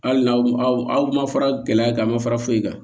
Hali n'aw aw ma fara gɛlɛya kan aw ma fara foyi kan